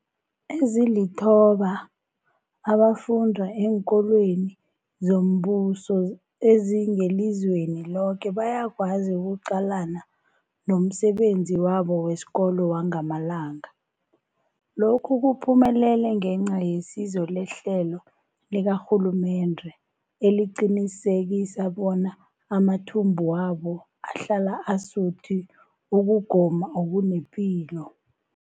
Ezilithoba abafunda eenkolweni zombuso ezingelizweni loke bayakwazi ukuqalana nomsebenzi wabo wesikolo wangamalanga. Lokhu kuphumelele ngenca yesizo lehlelo likarhulumende eliqinisekisa bona amathumbu wabo ahlala asuthi ukugoma okunepilo.